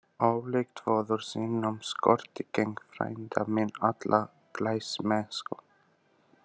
Ólíkt föður sínum skorti Keng frænda minn alla glæsimennsku.